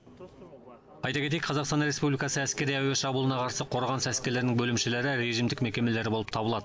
айта кетейік қазақстан республикасы әскери әуе шабуылына қарсы қорғаныс әскерлерінің бөлімшелері режимдік мекемелер болып табылады